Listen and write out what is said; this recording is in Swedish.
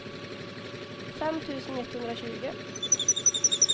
fem tusen etthundratjugo